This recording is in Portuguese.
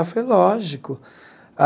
Aí falei, lógico.